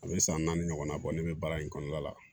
An bɛ san naani ɲɔgɔnna bɔ ne bɛ baara in kɔnɔna la